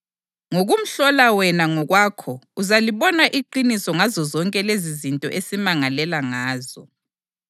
Ngokumhlola wena ngokwakho uzalibona iqiniso ngazozonke lezizinto esimangalela ngazo.”